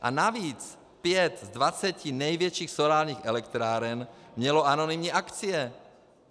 A navíc pět z dvaceti největších solárních elektráren mělo anonymní akcie.